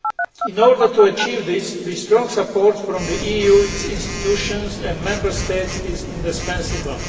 In order to achieve this, strong support from the EU, its institutions and Member States is indispensable.